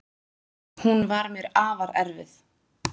Hún var mér afar erfið.